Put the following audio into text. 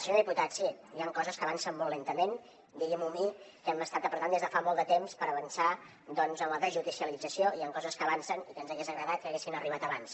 senyor diputat sí hi han coses que avancen molt lentament digui m’ho a mi que hem estat apretant des de fa molt de temps per avançar doncs en la desjudicialització i hi han coses que avancen i que ens hagués agradat que haguessin arribat abans